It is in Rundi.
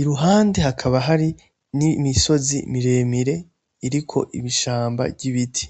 iruhande hakaba hari n'imisozi miremire iriko ishamba ry'ibiti.